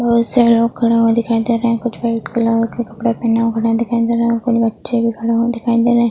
बोहोत सारे लोग खड़े हुए दिखाई दे रहे हैं कुछ वाइट कलर के कपड़े पहने दिखाई दे रहे हैं और कुछ बच्चे भी खड़े हुए दिखाई दे रहे।